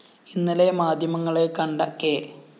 ഇന്നലെ മാധ്യമങ്ങളെ കണ്ട കെ